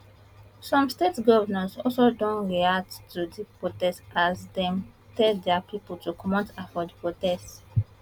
some state govnors also don react to di protest as dem tell dia pipo to comot hand for di protest